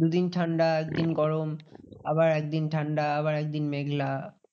দু দিন ঠান্ডা, দুদিন গরম আবার একদিন ঠান্ডা আবার একদিন মেঘলা।